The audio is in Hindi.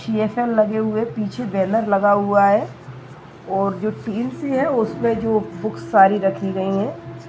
लगे हुए हैं पीछे लगा हुआ बैनर और उसमें जो बुक्स सारी राखी गई हैं।